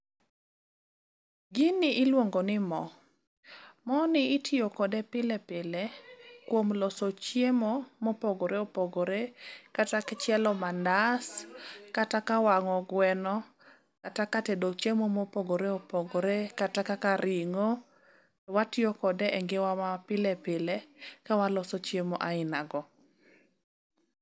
Gini iluongo ni mo. Moni itiyo kode pile pile kuom loso chiemo mopogore opogore kata ka chielo mandas, kata ka wang'o gweno, kata ka tedo chiemo mopogore opogore kata kaka ring'o. Watiyo kode e ngimawa mapile pile ka waloso chiemo ainago.